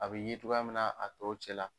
A be ye togoya min na a tɔw cɛla